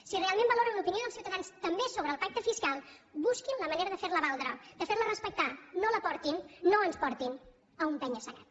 si realment valoren l’opinió dels ciutadans també sobre el pacte fiscal busquin la manera de fer la valdre de fer la respectar no la portin no ens portin a un penya segat